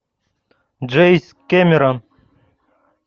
джеймс кэмерон